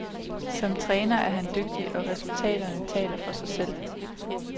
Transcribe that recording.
Som træner er han dygtig, og resultaterne taler for sig selv.